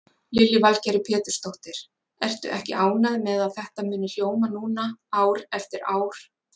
Lillý Valgerður Pétursdóttir: Ertu ekki ánægð með að þetta muni hljóma núna ár eftir ár?